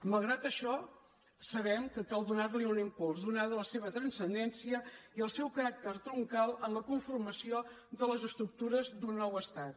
mal·grat això sabem que cal donar·li un impuls donats la seva transcendència i el seu caràcter troncal en la con·formació de les estructures d’un nou estat